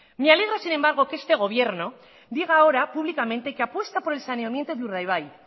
me alegra sin embargo que este gobierno diga ahora públicamente que apuesta por el saneamiento de urdaibai